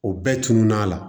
O bɛɛ tunun n'a la